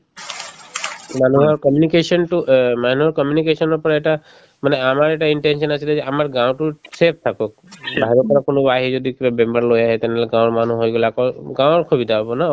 মানুহৰ communication তো অ মানুহৰ communication ৰ পৰা এটা মানে আমাৰ এটা intention আছিলে যে আমাৰ গাওঁতো save থাকক বাহিৰৰ পৰা কোনোবা আহি যদি কিবা বেমাৰ লৈ আহে তেনেহলে গাঁৱৰ মানুহৰ হৈ গলে আকৌ অসুবিধা হব ন